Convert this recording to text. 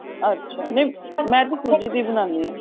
ਅੱਛਾ ਨੀਂ ਮੈਂ ਤਾਂ ਸੂਜੀ ਦੀ ਬਣਾਨੀ ਆ